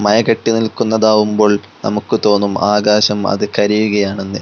മയ കെട്ടി നിൽക്കുന്നതാവുമ്പോൾ നമുക്ക് തോന്നും ആകാശം അത് കരയുകയാണെന്ന്.